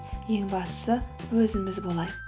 ең бастысы өзіміз болайық